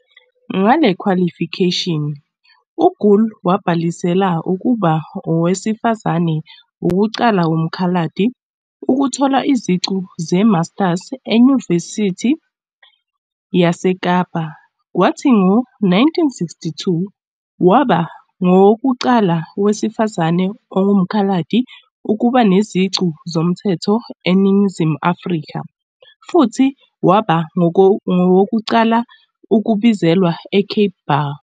Ngale khwalifikheshini, uGool wabhalisela ukuba ngowesifazane wokuqala woMkhaladi ukuthola iziqu ze-masters eYunivesithi yaseKapa kwathi ngo-1962, waba ngowokuqala wesifazane onguMkhaladi ukuba neziqu zomthetho eNingizimu Afrika futhi waba ngowokuqala ukubizelwa eCape Bar.